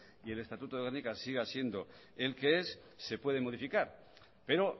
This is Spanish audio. y el estatuto de gernika siga siendo el que es se puede modificar pero